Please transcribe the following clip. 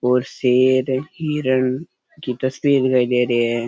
और शेर हिरन की तस्वीर दिखाई दे रही है।